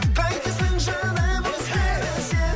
қайтесің жаным өзгені сен